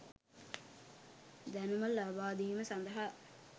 දැනුම ලබාදීම සඳහා